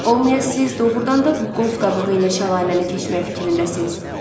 Olmaya siz doğurdan da bu qoz qabığı ilə şəlaləni keçmək fikrindəsiz?